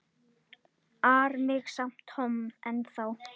ar mig samt Tom ennþá.